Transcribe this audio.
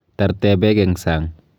Tarte beek eng sang.